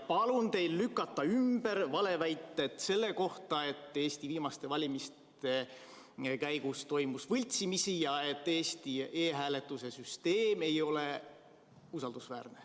Palun teil lükata ümber valeväited selle kohta, et Eesti viimaste valimiste käigus toimus võltsimisi ja et Eesti e-hääletuse süsteem ei ole usaldusväärne.